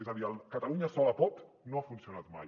és a dir el catalunya sola pot no ha funcionat mai